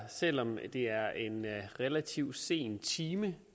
selv om det er en relativt sen time